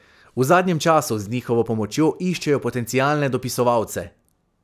V zadnjem času z njihovo pomočjo iščejo potencialne dopisovalce.